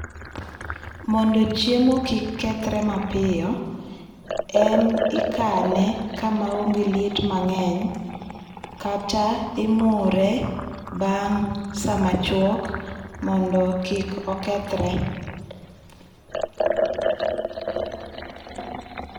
Mondo chiemo kik kethere mapiyo, en ikane ka ma onge liet mang'eny, kata imure bang' sa ma chuok mondo kik okethre.